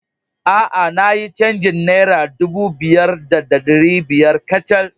A a, na yi cajin Naira dubu biyu da ɗari biyar kacal.